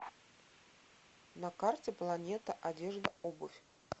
на карте планета одежда обувь